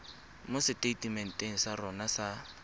mo seteitementeng sa rona sa